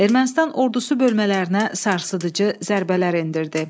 Ermənistan ordusu bölmələrinə sarsıdıcı zərbələr endirdi.